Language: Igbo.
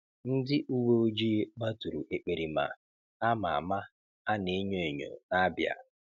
Ndị uwe ojii gbaturu ekperima a ma ama a na-enyo enyo n'Abịa.